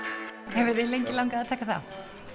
hefur þig lengi langað að taka þátt